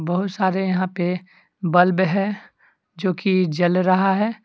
बहुत सारे यहां पे बल्ब है जो कि जल रहा है।